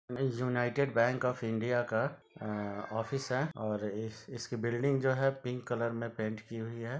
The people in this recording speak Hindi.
Miss United Kingdom of India का बैंक का ऑफिस है और इसकी बिल्डिंग जो है पिंक कलर में पेंट की हुई हैं।